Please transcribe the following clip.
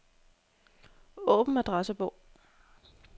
Åbn adressebog.